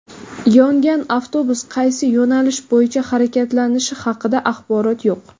Yongan avtobus qaysi yo‘nalish bo‘yicha harakatlanishi haqida axborot yo‘q.